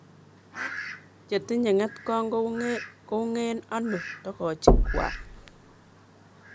Chetinye ngetkong kounge ano togochuk kwak?